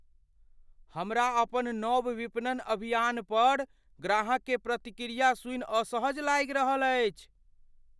हमरा अपन नव विपणन अभियानपर ग्राहककेँ प्रतिक्रिया सुनि असहज लागि रहल छी।